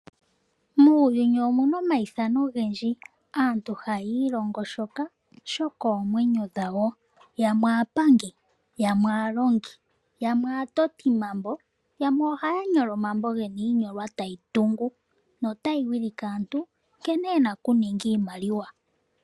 Muuyuni omuna omayithano ogendji aantu haya ilongo shoka shokoomwenyo dhawo yamwe aapangi yamwe aalongi yamwe aatotimambo yamwe ohaya nyola omambo gena iinyolwa tayi tungu notayi wilike aantu nkene yena okuninga iimaliwa.